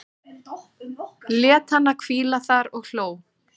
Lét hana hvíla þar og hló.